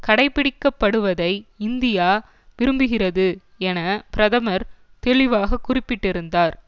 கடைப்பிடிக்கப்படுவதை India விரும்புகிறது என பிரதமர் தெளிவாக குறிப்பிட்டிருந்தார்